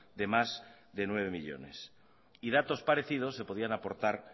de más de nueve millónes y datos parecidos se podrían aportar